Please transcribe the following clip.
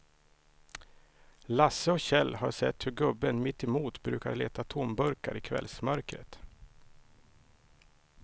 Lasse och Kjell har sett hur gubben mittemot brukar leta tomburkar i kvällsmörkret.